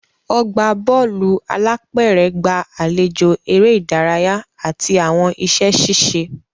Ọgbà Bọ́ọ̀lù alápẹ̀rẹ̀ gba àlejò eré ìdárayá àti àwọn iṣẹ́ ṣíṣe